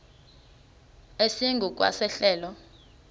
esingu kwa sehlelo